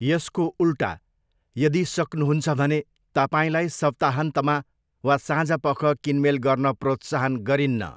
यसको उल्टा, यदि सक्नुहुन्छ भने, तपाईँलाई सप्ताहन्तमा वा साँझपख किनमेल गर्न प्रोत्साहन गरिन्न।